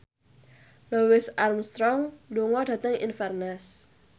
Louis Armstrong lunga dhateng Inverness